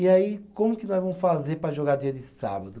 E aí, como que nós vamos fazer para jogar dia de sábado?